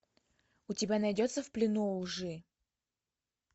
у тебя найдется в плену у лжи